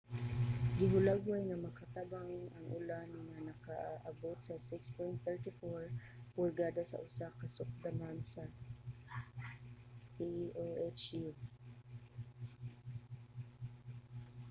gihulagway nga makatabang ang ulan nga nakaabot sa 6.34 pulgada sa usa ka sukdanan sa oahu